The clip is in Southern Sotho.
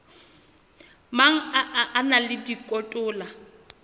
mang a na le dikotola